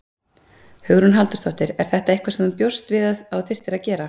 Hugrún Halldórsdóttir: Er þetta eitthvað sem þú bjóst við að þú þyrftir að gera?